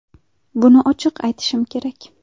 Buni ochiq aytishim kerak.